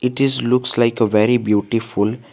It is looks like a very beautiful.